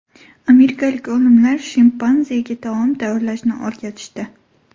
Amerikalik olimlar shimpanzega taom tayyorlashni o‘rgatishdi.